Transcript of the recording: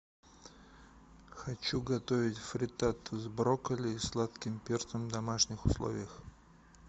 хочу готовить фриттату с брокколи и сладким перцем в домашних условиях